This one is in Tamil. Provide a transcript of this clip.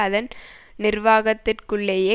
அதன் நிர்வாகத்திற்குள்ளேயே